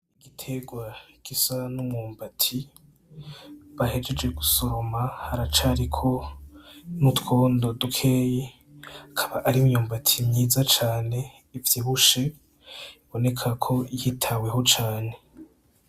Igitegwa gisa n'umwumbati bahejeje gusoroma haracariko n'utwondo dukeyi akaba arimyumbati myiza cane ivyibushe ibonekako yitaweho cane.